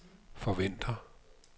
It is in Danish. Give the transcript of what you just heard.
forventer